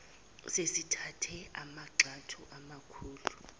sesithathe amagxathu amakhulu